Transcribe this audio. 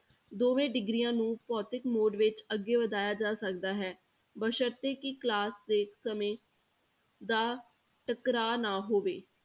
ਦੋਵੇਂ degrees ਨੂੰ ਭੌਤਿਕ mode ਵਿੱਚ ਅੱਗੇ ਵਧਾਇਆ ਜਾ ਸਕਦਾ ਹੈ, ਬਸਰਤ ਹੈ ਕਿ class ਦੇ ਸਮੇਂ ਦਾ ਟਕਰਾਅ ਨਾ ਹੋਵੇ।